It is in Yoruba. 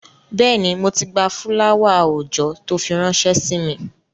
Bẹ́ẹ̀ni, mo ti gba fúláwà-oòjọ́ tó fi ránṣẹ́ sí mi